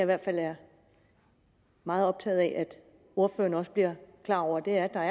hvert fald er meget optaget af at ordføreren også bliver klar over og det er at der